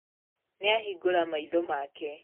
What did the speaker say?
Nĩahingũra maitho make.